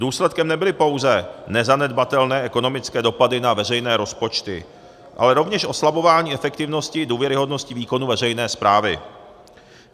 Důsledkem nebyly pouze nezanedbatelné ekonomické dopady na veřejné rozpočty, ale rovněž oslabování efektivnosti, důvěryhodnosti výkonu veřejné správy.